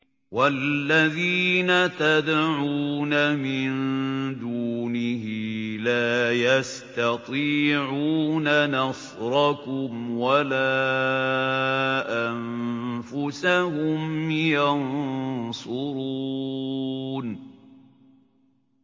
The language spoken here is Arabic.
وَالَّذِينَ تَدْعُونَ مِن دُونِهِ لَا يَسْتَطِيعُونَ نَصْرَكُمْ وَلَا أَنفُسَهُمْ يَنصُرُونَ